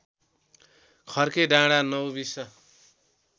खर्के डाँडा नौबिस